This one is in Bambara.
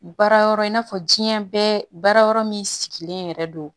Baara yɔrɔ in n'a fɔ diɲɛ bɛɛ baara yɔrɔ min sigilen yɛrɛ don